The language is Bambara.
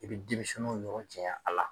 I be denmisɛnnunw niyɔrɔ caya a la.